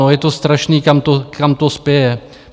No, je to strašný, kam to spěje?